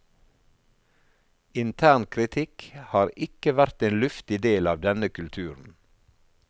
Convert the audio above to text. Intern kritikk har ikke vært en luftig del av denne kulturen.